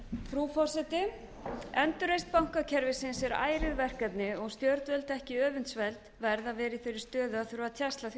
frú forseti endurreisn bankakerfisins er ærið verkefni og stjórnvöld ekki öfundsverð að vera í þeirri stöðu að þurfa að tjasla því